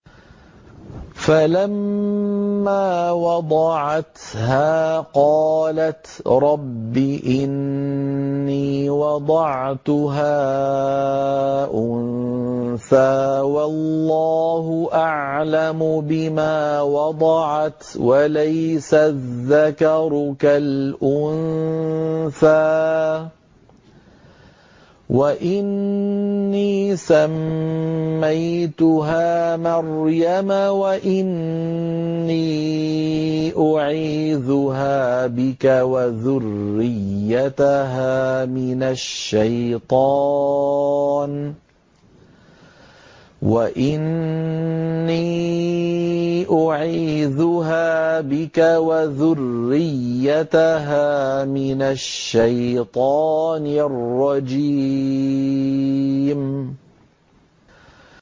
فَلَمَّا وَضَعَتْهَا قَالَتْ رَبِّ إِنِّي وَضَعْتُهَا أُنثَىٰ وَاللَّهُ أَعْلَمُ بِمَا وَضَعَتْ وَلَيْسَ الذَّكَرُ كَالْأُنثَىٰ ۖ وَإِنِّي سَمَّيْتُهَا مَرْيَمَ وَإِنِّي أُعِيذُهَا بِكَ وَذُرِّيَّتَهَا مِنَ الشَّيْطَانِ الرَّجِيمِ